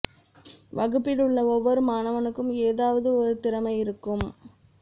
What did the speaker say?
வகுப்பில் உள்ள ஒவ்வொரு மாணவனுக்கும் ஏதாவது ஒரு திறமை இருக்கும்